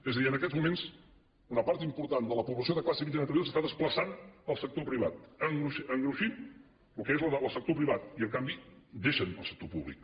és a dir en aquests moments una part important de la població de classe mitjana s’està desplaçant al sector privat engruixint el que és el sector privat i en canvi deixen el sector públic